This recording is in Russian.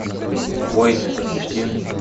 воины запусти